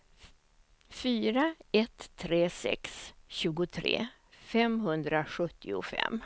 fyra ett tre sex tjugotre femhundrasjuttiofem